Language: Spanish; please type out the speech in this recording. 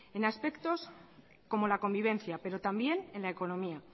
en aspecto como la convivencia pero también en la economía